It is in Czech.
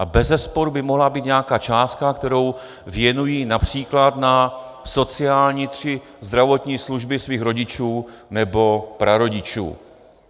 A bezesporu by mohla být nějaká částka, kterou věnují například na sociální či zdravotní služby svých rodičů nebo prarodičů.